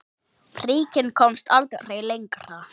Bríkin komst aldrei lengra.